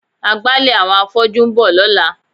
Agbálẹ̀ àwọn afọ́jú ń bọ̀ lọ́la.